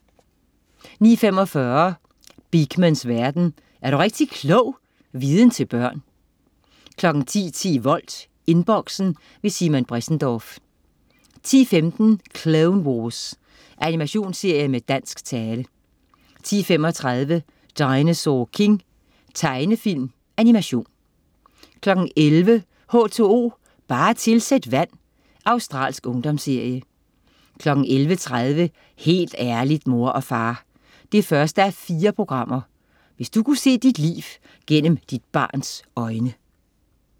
09.45 Beakmans verden. Er du rigtig klog! Viden til børn 10.10 Volt. Inboxen. Simon Bressendorff 10.15 Clone Wars. Animationsserie med dansk tale 10.35 Dinosaur King. Tegnefilm/Animation 11.00 H2O, bare tilsæt vand. Australsk ungdomsserie 11.30 Helt ærligt, mor og far! 1:4. Hvis du kunne se dit liv gennem dit barns øjne